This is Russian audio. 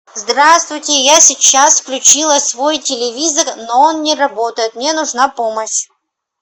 здравствуйте я сейчас включила свой телевизор но он не работает мне нужна помощь